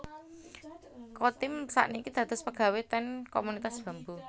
Chotim sak niki dados pegawe ten Komunitas Bambu